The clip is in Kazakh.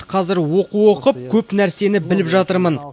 қазір оқу оқып көп нәрсені біліп жатырмын